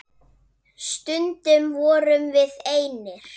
Stundum vorum við einir.